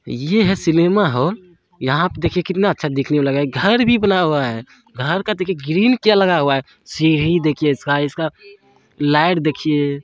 ये हैं cinema hall. यहां आप देखिए कितना अच्छा दिखने मे लगा रहा हैं। घर भी बना हुआ हैं। घर का देखिए ग्रिल क्या लगा हुआ हैं। सीढ़ी देखिए इसका इसका लाइट देखिए।